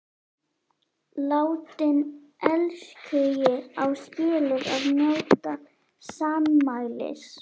Látinn elskhugi á skilið að njóta sannmælis.